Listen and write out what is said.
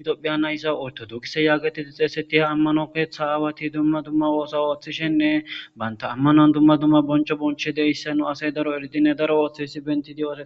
midopheyana isa oyto dugise yaagetidi xeeseti ha ammano keeththa aawati dumma dumma woosa ooththishenne baynta ammanoan dumma dumma boncho bonche deyssa nu asay daro erdinne daro ooththesi benti dio..